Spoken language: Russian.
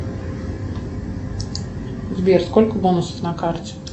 сбер сколько бонусов на карте